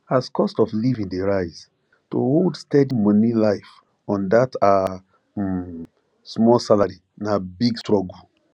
as cost of living dey rise to hold steady money life on that her um small salary na big struggle